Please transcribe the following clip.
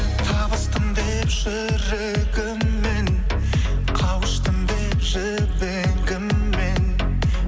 табыстым деп жүрегіммен қауыштым деп жібегіммен